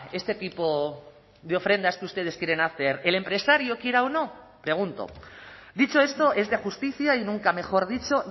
este tipo de ofrendas que ustedes quieren hacer el empresario quiera o no pregunto dicho esto es de justicia y nunca mejor dicho